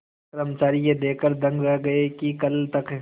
कर्मचारी यह देखकर दंग रह गए कि कल तक